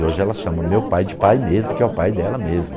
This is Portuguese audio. E hoje ela chama meu pai de pai mesmo, que é o pai dela mesmo.